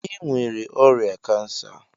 Ị nwere ọrịa cancer!